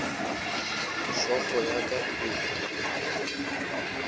hlogo ya ka e be